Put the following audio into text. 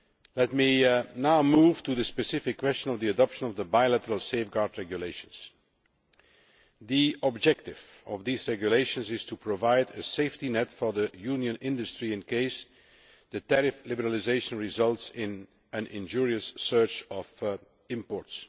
Let me now move to the specific question of the adoption of the Bilateral Safeguard Regulations. The objective of these regulations is to provide a safety net for the Union's industry in case the tariff liberalisation results in an injurious surge of imports.